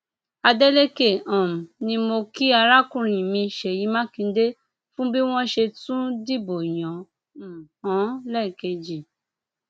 adélékè um ni mo kí arákùnrin mi ṣèyí mákindé fún bí wọn ṣe tún dìbò yàn um án lẹẹkejì